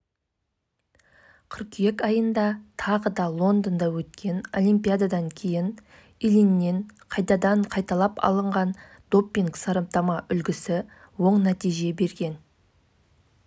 еске салсақ елімізде мүлікті заңдастыру жылдың қыркүйегінде басталып жылдың желтоқсанына дейін жалғасады қазақстандық ауыр атлеттің көрсеткен